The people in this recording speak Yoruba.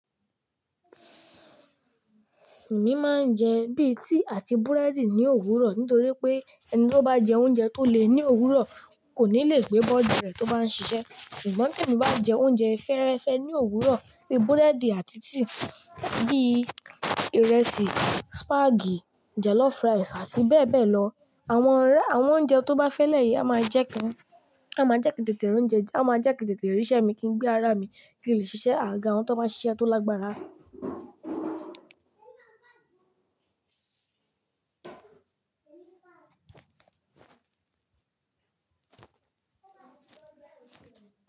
Èmi máa ń jẹ bíi tea àti búrẹ́dì ní òwúrọ̀ nítorí pé ẹni tó bá jẹ oúnjẹ tó le ní òwúrọ̀ kò ní le gbé body rẹ̀ tó bá ń ṣiṣẹ́. Ṣùgbọ́n tí èmi bá jẹ oúnjẹ fẹ́rẹ́fẹ́ ní òwúrọ̀ bíi búrẹ́dì àti tíì, bíi ìrẹsì, súpagì, jọlọfú ràìsì àti bẹ́ẹ̀ bẹ́ẹ̀ lọ, awọn a àwọn oúnjẹ tó bá fẹ́lẹ́ yìí a máa jẹ́ kí tètè ríṣẹ́ mi kí n gbé ara mi kí n lè ṣiṣẹ́ àgaga àwọn tó máa ń ṣiṣẹ́ tó lágbára.